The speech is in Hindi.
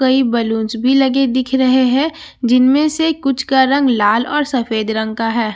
कई बलूंस भी लगे दिख रहे हैं जिनमें से कुछ का रंग लाल और सफेद रंग का है।